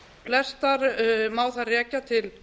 flestar má þar rekja til